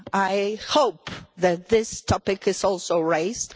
I hope that this topic is also raised.